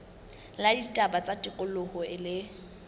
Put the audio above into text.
la ditaba tsa tikoloho le